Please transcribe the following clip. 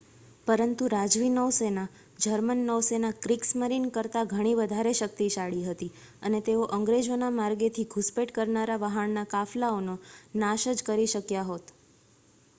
"પરંતુ રાજવી નૌસેના જર્મન નૌસેના "ક્રિગસ્મરીન" કરતા ઘણી વધારે શક્તિશાળી હતી અને તેઓ અંગ્રેજોના માર્ગેથી ઘુસપેઠ કરનારા વહાણના કાફલાઓનો નાશ કરી જ શક્યા હોત.